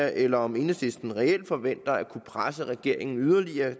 eller om enhedslisten reelt forventer at kunne presse regeringen yderligere